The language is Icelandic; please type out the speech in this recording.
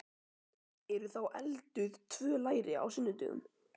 Eru þá elduð tvö læri á sunnudögum?